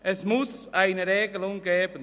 Es muss eine Regelung geben.